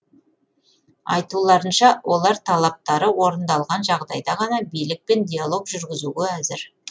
айтуларынша олар талаптары орындалған жағдайда ғана билікпен диалог жүргізуге әзір